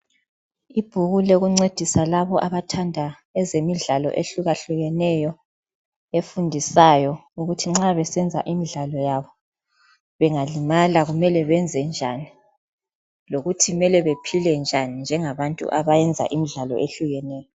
Ibhuku lokuncedisa labo abathanda ezemidlalo ehlukahlukeneyo efundisayo ukuthi nxa besenza imidlalo yabo bengalimala kumele benze njani lokuthi kumele bephile njani njengabantu abenza imidlalo ehlukeneyo.